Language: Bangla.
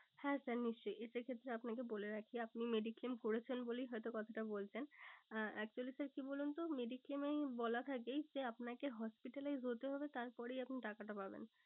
হ্যাঁ sir নিশ্চই। এটার ক্ষেত্রে আপনাকে বলে রাখি আপনি mediclaim করেছেন বলেই হয়তো কথাটা বলছেন। আহ actually sir কি বলুন তো mediclaim এই বলা থাকে যে আপনাকে hospitalize হতে হবে তারপরেই আপনি টাকাটা পাবেন।